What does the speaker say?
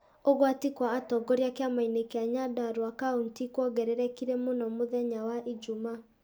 Ũgwati kwa atongoria kĩamainĩ kĩa Nyandarua kauntĩ kwongererekire mũno mũthenya wa ijumaa.